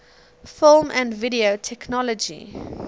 film and video technology